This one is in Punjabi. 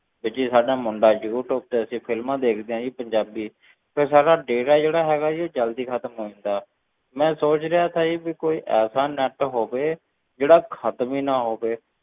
ਤੇ ਜੀ ਸਾਡਾ ਮੁੰਡਾ ਯੂ ਟਿਊਬ ਤੇ ਅਸੀਂ films ਦੇਖਦੇ ਹਾਂ ਜੀ ਪੰਜਾਬੀ ਫਿਰ ਸਾਡਾ data ਜਿਹੜਾ ਹੈਗਾ ਜੀ ਉਹ ਜ਼ਲਦੀ ਖ਼ਤਮ ਹੋ ਜਾਂਦਾ, ਮੈਂ ਸੋਚ ਰਿਹਾ ਸੀ ਜੀ ਵੀ ਕੋਈ ਐਸਾ net ਹੋਵੇ, ਜਿਹੜਾ ਖ਼ਤਮ ਹੀ ਨਾ ਹੋਵੇ,